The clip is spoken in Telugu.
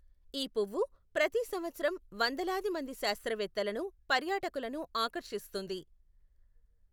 ఈ పువ్వు ప్రతి సంవత్సరం వందలాది మంది శాస్త్రవేత్తలను, పర్యాటకులను ఆకర్షిస్తుంది.